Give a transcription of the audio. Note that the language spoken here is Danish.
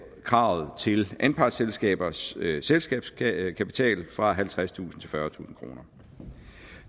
kravet til anpartsselskabers selskabskapital fra halvtredstusind til fyrretusind kroner